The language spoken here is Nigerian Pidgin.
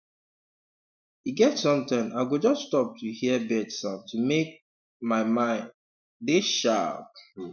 e get sometime i go just stop to hear bird sound to make um my mind um dey sharp um